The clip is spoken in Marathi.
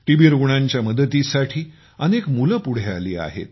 टीबी रुग्णांच्या मदतीसाठी अनेक मुले पुढ आली आहेत